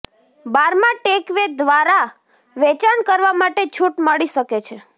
બારમાં takeaway દ્વારા વેચાણ કરવા માટે છૂટ મળી શકે છે